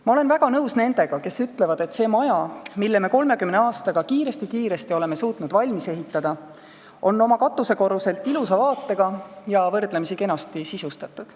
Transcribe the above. Ma olen väga nõus nendega, kes ütlevad, et see maja, mille me 30 aastaga oleme kiiresti-kiiresti suutnud valmis ehitada, on oma katusekorruselt ilusa vaatega ja võrdlemisi kenasti sisustatud.